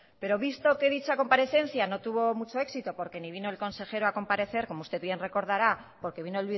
pero visto que dicha comparecencia no tuvo mucho éxito porque ni vino el consejero a comparecer como usted bien recordará porque vino